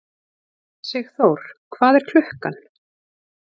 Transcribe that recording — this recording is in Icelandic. Sigþór, hvað er klukkan?